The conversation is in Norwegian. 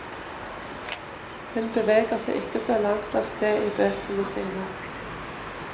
Hun beveger seg ikke så langt av sted i bøkene sine.